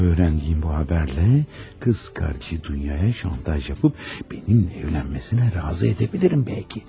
Amma öyrəndiyim bu xəbərlə qız kardeşi dünyaya şantaj yapıp benimlə evlənməsinə razı edə bilirəm bəlkə.